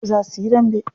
Yau zaa su yi dambe.